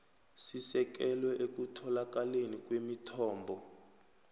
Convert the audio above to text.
sisekelwe ekutholakaleni kwemithombo